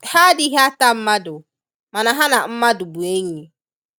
Ha adighi ata mmadu mana ha na mmadụ bu enyi